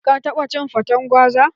Ka taɓa cin faten gwaza?